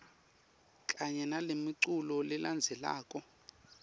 kanye nalemiculu lelandzelako